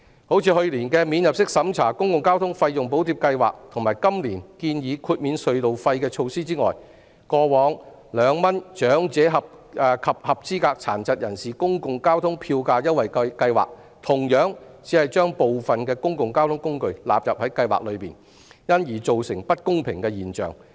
除了去年的"免入息審查的公共交通費用補貼計劃"和今年建議豁免隧道費的措施外，過往長者及合資格殘疾人士公共交通票價優惠計劃同樣只將部分公共交通工具納入計劃內，因而造成不公平現象。